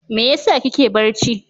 Me yasa kike barci?